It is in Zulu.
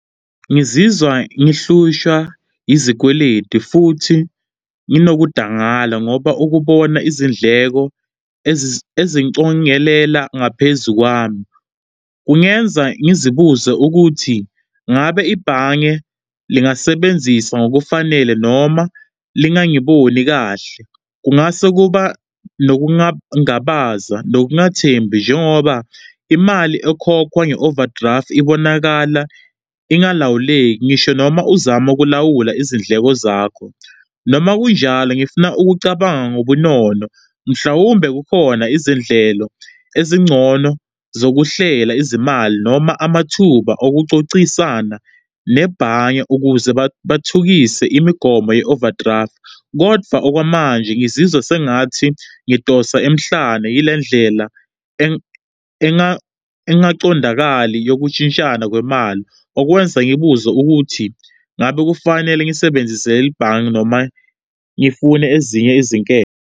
Ngizizwa ngihlushwa izikweletu futhi nginokudangala ngoba ukubona izindleko ezincongelela ngaphezu kwami kungenza ngizibuze ukuthi ngabe ibhange lingasebenzisa ngokufanele noma lingangiboni kahle. Kungase kuba nokungangabaza nokungathembi njengoba imali ekhokhwa nge-overdraft ibonakala ingalawuleki ngisho noma uzama ukulawula izindleko zakho. Noma kunjalo, ngifuna ukucabanga ngobunono mhlawumbe kukhona izindlelo ezingcono zokuhlela izimali noma amathuba okucocisana nebhange ukuze bathukise imigomo ye-overdraft. Kodwa okwamanje ngizizwe sengathi ngidonsa emhlane yilendlela engaqondakali yokushintshisana kwemali. Okwenza ngibuze ukuthi ngabe kufanele ngisebenzise lelibhange noma ngifune ezinye izinketho.